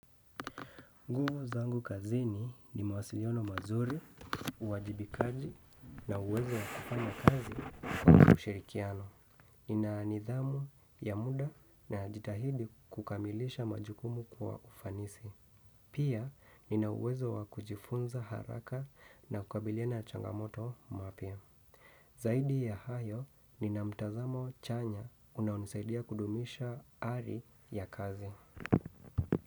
Nguvu zangu kazini ni mawasiliono mazuri, uwajibikaji na uwezo wakufanya kazi kwa ushirikiano. Nina nidhamu ya muda najitahidi kukamilisha majukumu kwa ufanisi. Pia, nina uwezo wa kujifunza haraka na kukabilina changamoto mpya. Zaidi ya hayo, nina mtazamo chanya unaonisaidia kudumisha ari ya kazi.